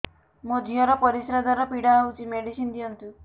ମୋ ଝିଅ ର ପରିସ୍ରା ଦ୍ଵାର ପୀଡା ହଉଚି ମେଡିସିନ ଦିଅନ୍ତୁ